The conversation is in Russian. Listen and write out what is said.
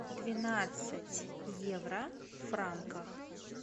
двенадцать евро в франках